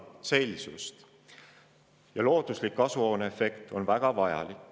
looduslik kasvuhooneefekt on väga vajalik.